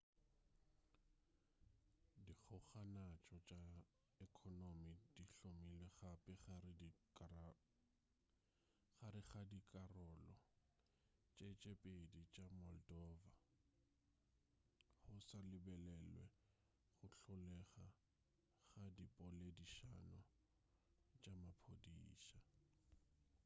dikgokagantšo tša ekonomi di hlomilwe gape gare ga dikarolo tše tše pedi tša moldova go sa lebelelwe go hlolega ga dipoledišano tša maphodisa